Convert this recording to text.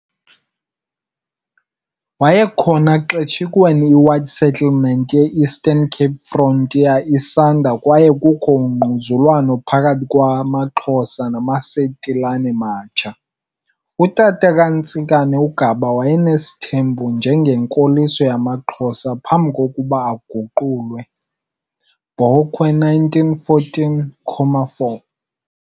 Wayekhona xeshikweni iwhite settlement ye Eastern Cape Frontier isanda kwaye kukho ungquzulwano phakathi kwamaXhosa nalamasetilane matsha. Utata kaNtsikane, uGaba wayenesithembu njengenkoliso yamaXhosa phambi kokuba aguqulwe, Bokwe 1914,4.